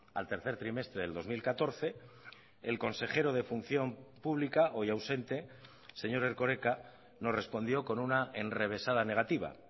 al tercer trimestre del dos mil catorce el consejero de función pública hoy ausente señor erkoreka nos respondió con una enrevesada negativa